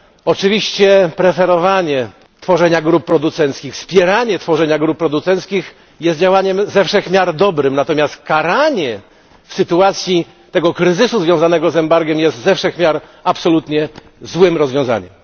Oczywiście, preferowanie tworzenia grup producentów, wspieranie tworzenia grup producentów jest działaniem ze wszech miar dobrym, natomiast karanie w sytuacji tego kryzysu związanego z embargiem jest absolutnie złym rozwiązaniem.